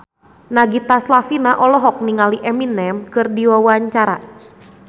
Nagita Slavina olohok ningali Eminem keur diwawancara